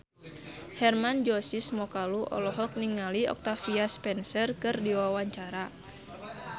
Hermann Josis Mokalu olohok ningali Octavia Spencer keur diwawancara